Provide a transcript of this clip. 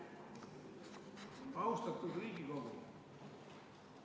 Austatud Riigikogu!